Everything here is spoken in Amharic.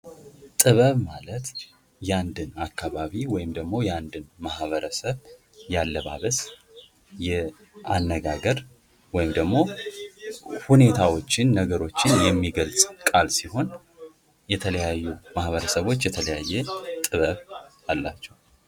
ጥበብ ማለት የአንድን አካባቢ ወይም ደግሞ የአንድን ማህበረሰብ የአለባበስ ፣ የአነጋገር ወይም ደግሞ ሁኔታዎችን ፣ነገሮችን የሚገልጽ ቃል ሲሆን የተለያዩ ማህበረሰቦች የተለያየ ጥበብ አላቸው ።